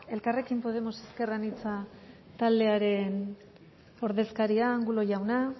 elkarrekin podemos ezker anitza taldearen ordezkaria angulo jauna